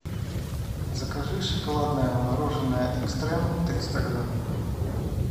закажи шоколадное мороженое экстрем триста грамм